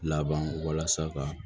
Laban walasa ka